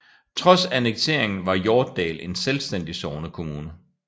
Trods annekteringen var Hjortdal en selvstændig sognekommune